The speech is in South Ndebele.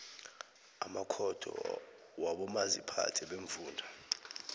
amakhotho wabomaziphathe beemfunda